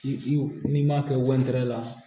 I n'i m'a kɛ la